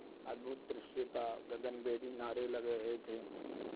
अद्भुत दृश्य था गगनभेदी नारे लग रहे थे